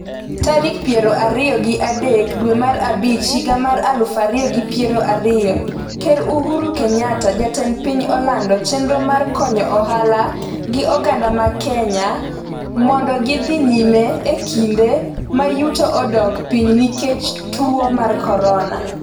tarik piero ariyo gi adek dwe mar abich higa mar aluf ariyo gi piero ariyo .Ker Uhuru Kenyatta Jatend piny olando chenro mar konyo ohala gi oganda mag Kenya mondo gidhi nyime e kinde ma yuto odok piny nikech tuwo mar korona